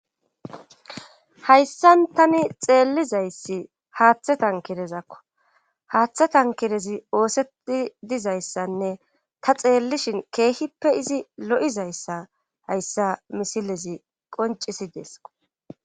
hayssan tani xeellizayssi haaththe tan kirezakko haaththe tan kirezi oosetti dizayssanne ta xeellishin keehippe izi lo7izayssa hayssa misilezi qoncisi deesko